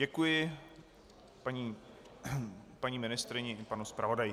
Děkuji paní ministryni i panu zpravodaji.